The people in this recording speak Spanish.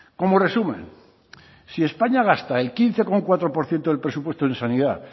como resumen si españa gasta el quince coma cuatro por ciento del presupuesto en sanidad